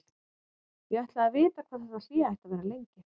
Ég ætlaði að vita hvað þetta hlé ætti að vera lengi.